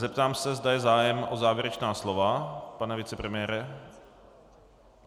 Zeptám se, zda je zájem o závěrečná slova, pane vicepremiére.